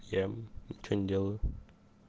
я ничего не делаю